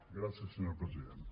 gràcies senyor president